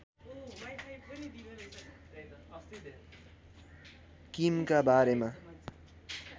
किमका बारेमा